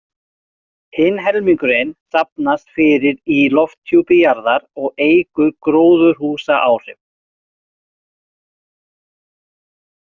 Hinn helmingurinn safnast fyrir í lofthjúpi jarðar og eykur gróðurhúsaáhrif.